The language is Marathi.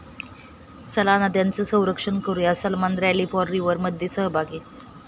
चला, नद्यांचं संरक्षण करूया, सलमान रॅली फॉर रिव्हर'मध्ये सहभागी